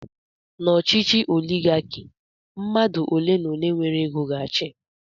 N'ọchịchị oligaki, mmadụ ole n'ole nwere ego ga-achị.